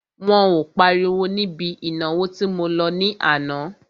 Wọn ò páriwo níbi ìnáwó tí mo lọ ní àná.